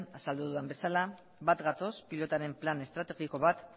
azaldu dudan bezala bat gatoz pilotaren plan estrategiko bat